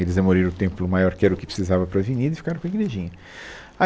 Eles demoliram o templo maior, que era o que precisava para a avenida, e ficaram com a igrejinha. A